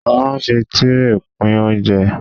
A ma ń fi Tírè pín oúnjẹ.